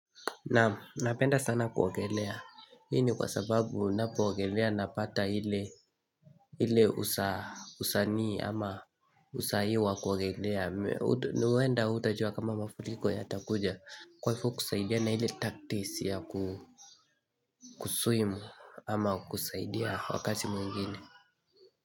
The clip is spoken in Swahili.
Naam napenda sana kuogelea. Hii ni kwa sababu napoogelea napata ile usanii ama usahii wa kuogelea. Nwenda utajua kama mafuriko ya takuja. Kwaivo kusaidia na hile taktisi yaku swim ama kusaidia wakati mwingine.